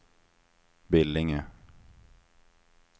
Billinge